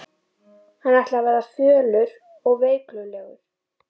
Hann ætlaði að verða fölur og veiklulegur.